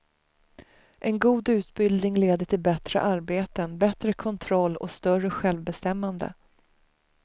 En god utbildning leder till bättre arbeten, bättre kontroll och större självbestämmande.